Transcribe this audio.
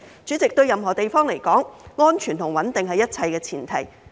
主席，對任何地方而言，安全和穩定也是一切的前提。